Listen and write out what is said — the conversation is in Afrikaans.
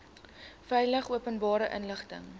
veilig openbare inligting